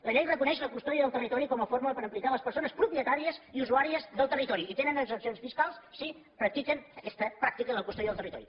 la llei reconeix la custòdia del territori com a forma per implicar les persones propietàries i usuàries del territori i tenen exempcions fiscals si practiquen aquesta pràctica de la custòdia del territori